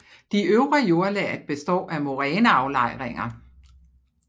De øvre jordlag består af moræneaflejringer